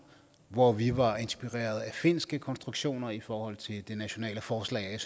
hvor vi var inspireret af finske konstruktioner i forhold til det nationale forslag